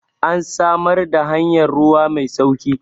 an samar da hanyar ruwa Mai sauki!